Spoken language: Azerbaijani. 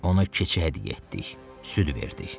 Ona keçi hədiyyə getdik, süd verdik.